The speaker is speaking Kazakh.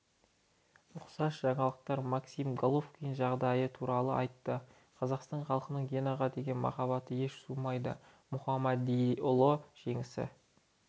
ұқсас жаңалықтар максим головкин жағдайы туралы айтты қазақстан халқының генаға деген махаббаты еш суымайды мұхамедиұлы желісі